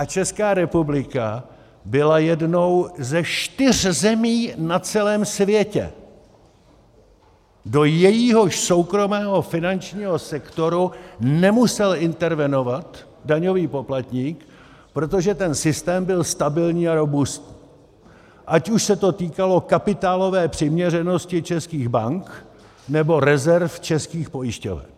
A Česká republika byla jednou ze čtyř zemí na celém světě, do jejíhož soukromého finančního sektoru nemusel intervenovat daňový poplatník, protože ten systém byl stabilní a robustní, ať už se to týkalo kapitálové přiměřenosti českých bank, nebo rezerv českých pojišťoven.